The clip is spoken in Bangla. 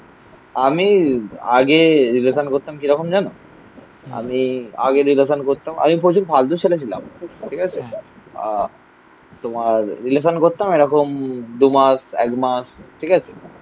আমি আগে রিলেশান করতাম কিরকম জানো? আমি আগে রিলেশান করতাম. আমি প্রচুর ফালতু ছেলে ছিলাম. ঠিক আছে? আহ তোমার রিলেশান করতাম এরকম দুমাস একমাস ঠিক আছে